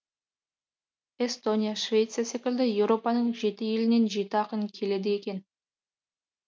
эстония швеция секілді еуропаның жеті елінен жеті ақын келеді екен